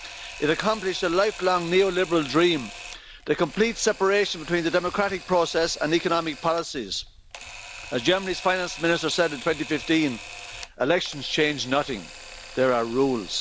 It accomplished a lifelong neoliberal dream the complete separation between the democratic process and economic policies. As Germany's Finance Minister said in 2015 elections change nothing, there are rules.